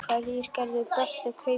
Hverjir gerðu bestu kaupin?